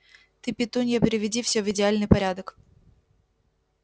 ты петунья приведи всё в идеальный порядок